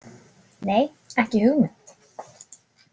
Nei, ekki hugmynd